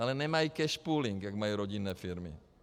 Ale nemají cash pooling, jako mají rodinné firmy.